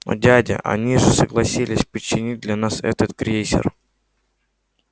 но дядя они же согласились починить для нас этот крейсер